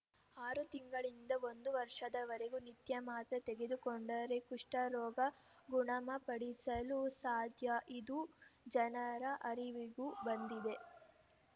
ಆರು ತಿಂಗಳಿನಿಂದ ಒಂದು ವರ್ಷದವರೆಗೆ ನಿತ್ಯ ಮಾತ್ರೆ ತೆಗೆದುಕೊಂಡರೆ ಕುಷ್ಠರೋಗ ಗುಣಮಪಡಿಸಲು ಸಾಧ್ಯ ಇದು ಜನರ ಅರಿವಿಗೂ ಬಂದಿದೆ